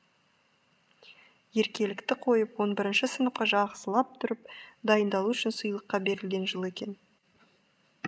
еркелікті қойып он бірінші сыныпқа жақсылап тұрып дайындалу үшін сыйлыққа берілген жыл екен